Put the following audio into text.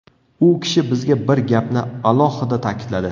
U kishi bizga bir gapni alohida ta’kidladi.